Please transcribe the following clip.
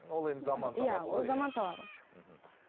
ол енді заман талабы иә ол заман талабы мхм